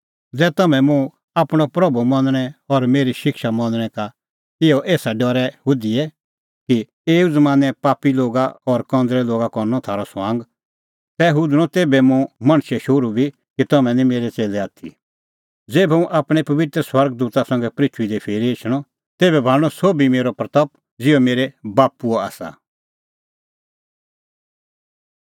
ज़ुंण बी इना कंज़रै और पापी ज़ाती सम्हनै मुखा और मेरी गल्ला खोज़णैं का शरम च़ेते मुंह मणछे शोहरू बी च़ेतणीं तेभै तेऊ लै शरम ज़ेभै हुंह आपणैं पबित्र स्वर्ग दूता संघै और आपणैं बाप्पूए महिमां संघै एछणअ